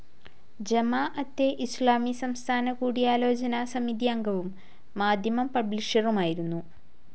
ജമാഅത്തെ ഇസ്ലാമി സംസ്ഥാന കൂടിയാലോചന സമിതിയംഗവും, മാധ്യമം പബ്ലിഷറുമായിരുന്നു.